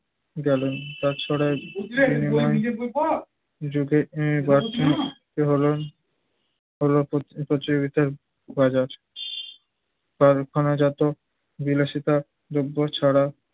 গেল বিনিময়ে যুগে আহ বাক্ মুক্তি হলো, হলো প্রতি~ প্রতিযোগিতার বাজার কারখানাজাত বিলাসিতা দ্রব্য ছাড়া